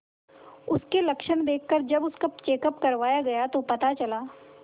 उसके लक्षण देखकरजब उसका चेकअप करवाया गया तो पता चला